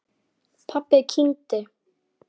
Pabbi kyngdi.